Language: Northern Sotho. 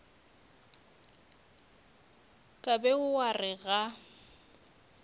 ka be wa re ga